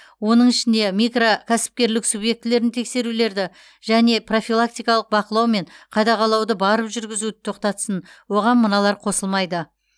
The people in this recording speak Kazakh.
оның ішінде микрокәсіпкерлік субъектілерін тексерулерді және профилактикалық бақылау мен қадағалауды барып жүргізуді тоқтатсын оған мыналар қосылмайды